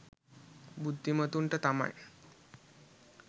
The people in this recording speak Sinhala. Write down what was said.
බුද්ධිමතුන්ට තමයි.